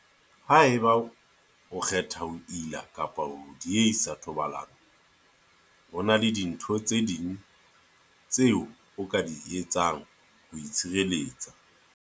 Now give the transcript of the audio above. Haeba o kgetha ho ila kapa ho diehisa thobalano, ho na le dintho tse ding tseo o ka di etsang ho itshireletsa.